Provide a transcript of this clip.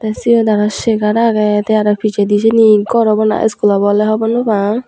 siyot aro chair age the aro pijedi sini ghor obo na school obo hobor no pang.